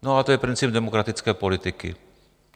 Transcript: No a to je princip demokratické politiky.